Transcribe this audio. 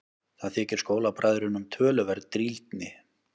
Það þykir skólabræðrunum töluverð drýldni.